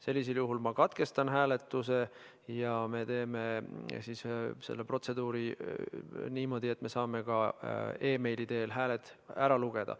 Sellisel juhul ma katkestan hääletuse ja me teeme selle protseduuri niimoodi, et me saame ka meili teel hääled ära lugeda.